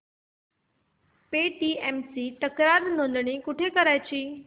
Paytm ची तक्रार नोंदणी कुठे करायची